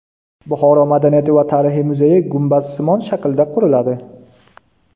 Buxoro madaniyati va tarixi muzeyi gumbazsimon shaklda quriladi.